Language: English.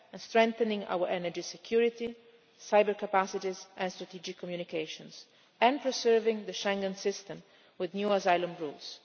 strengthening our energy security, cyber capacities and strategic communications and preserving the Schengen system with new asylum rules.